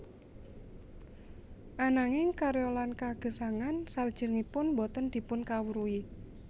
Ananging karya lan kagesangan salajengipun boten dipunkawruhi